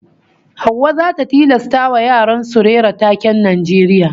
Hauwa zata tilastawa yaran su rera taken Najeriya